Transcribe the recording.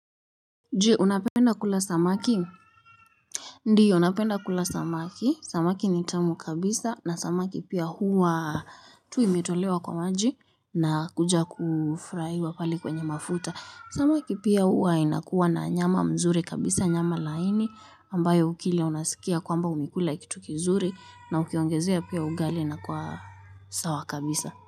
Je unapenda kula samaki ndiyo napenda kula samaki. Samaki ni tamu kabisa na samaki pia huwa tu imetolewa kwa maji na kuja kufuraiwa pale kwenye mafuta samaki pia huwa inakuwa na nyama mzuri kabisa nyama laini ambayo ukila unasikia kwamba umekula kitu kizuri na ukiongezea pia ugali inakuwa sawa kabisa.